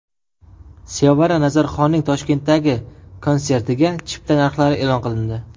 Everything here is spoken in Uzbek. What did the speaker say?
Sevara Nazarxonning Toshkentdagi konsertiga chipta narxlari e’lon qilindi.